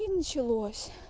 и началось